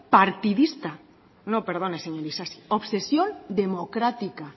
partidista no perdone señor isasi obsesión democrática